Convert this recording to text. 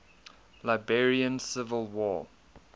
liberian civil war